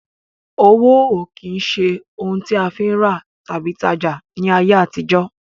Owó ó kín ṣe òun a fi ń rà tàbí tajá ni ayé àtijó